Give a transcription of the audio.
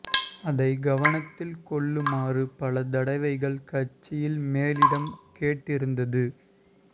அதனை கவனத்தில் கொள்ளுமாறு பல தடவைகள் கட்சியில் மேலிடம் கேட்டிருந்தது